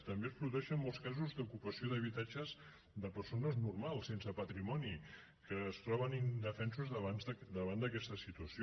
també es produeixen molts casos d’ocupació d’habitatges de persones normals sense patrimoni que es troben indefensos davant d’aquesta situació